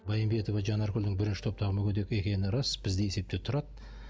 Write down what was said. байымбетова жанаргүлдің бірінші топтағы мүгедек екені рас бізде есепте тұрады